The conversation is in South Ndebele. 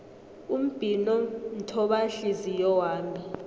umbhino mthobanhliziyo wami